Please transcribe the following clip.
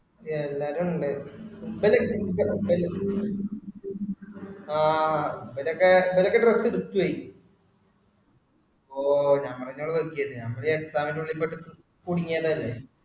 എല്ലാരും ഉണ്ട് ആഹ് ഇവരൊക്കെ dress എടുത്തു പോയി. ഓ ഞാൻ പറഞ്ഞപോലെ നോക്കിയാ മതി. നമ്മള് ഈ കുടുങ്ങിയാലത്